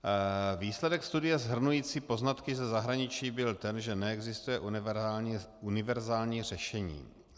Výsledek studia shrnující poznatky ze zahraničí byl ten, že neexistuje univerzální řešení.